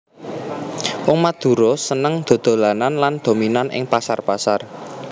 Wong Madura seneng dhodholan lan dominan ing pasar pasar